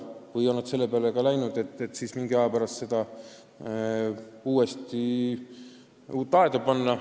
Vahest on nad selle peale läinud, et mingi aja pärast uus aed püsti panna.